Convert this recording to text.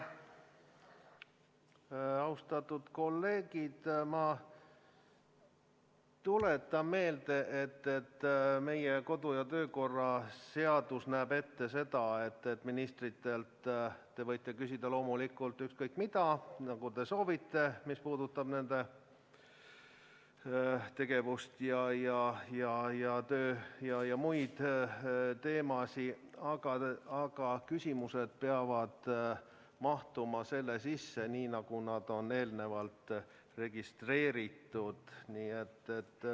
Austatud kolleegid, ma tuletan meelde, et meie kodu- ja töökorra seadus näeb ette, et ministritelt te võite küsida loomulikult ükskõik mida, mis puudutab nende tegevust ja tööd ja ka muud, aga küsimused peavad mahtuma selle teema sisse, mis on eelnevalt registreeritud.